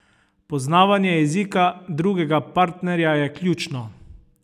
Poznavanje jezika drugega partnerja je ključno!